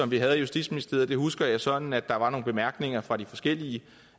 vi havde i justitsministeriet husker jeg sådan at der var nogle bemærkninger fra de forskellige